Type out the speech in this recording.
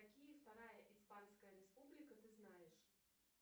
какие вторая испанская республика ты знаешь